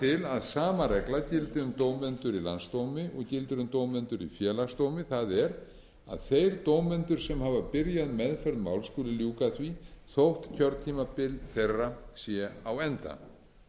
til að sama regla gildi um dómendur í landsdómi og gildir um dómendur í félagsdómi það er að þeir dómendur sem hafa byrjað meðferð máls skuli ljúka því þótt kjörtímabil þeirra sé á enda